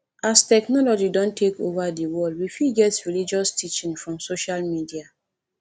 as technology don take over di world we fit get religious teaching from social media